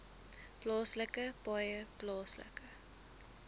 plaaslike paaie plaaslike